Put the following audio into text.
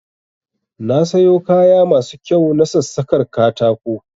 Na sayo kaya masu kyau na sassakar katako